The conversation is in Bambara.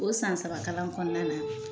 O san saba kalan kɔnɔna na